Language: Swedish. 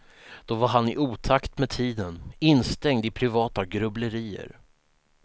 Då var han i otakt med tiden, instängd i privata grubblerier.